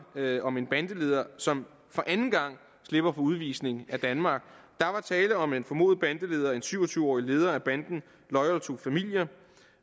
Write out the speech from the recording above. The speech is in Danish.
om en bandeleder som for anden gang slipper for udvisning af danmark der er tale om en formodet bandeleder en syv og tyve årig leder af banden loyal to familia